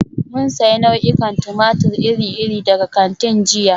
Mun sayi nau'ikan tumatir iri-iri daga kantin jiya.